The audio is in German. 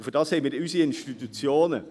Dafür haben wir unsere Institutionen.